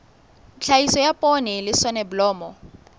tlhahiso ya poone le soneblomo